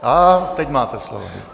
A teď máte slovo.